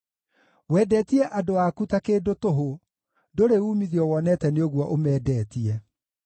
Wendetie andũ aku ta kĩndũ tũhũ, ndũrĩ uumithio wonete nĩ ũguo ũmendetie.